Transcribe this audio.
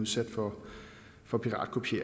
sikker på